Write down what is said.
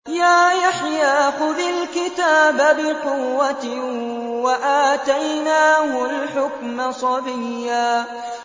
يَا يَحْيَىٰ خُذِ الْكِتَابَ بِقُوَّةٍ ۖ وَآتَيْنَاهُ الْحُكْمَ صَبِيًّا